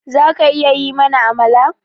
Zaka iya yi mana Amala?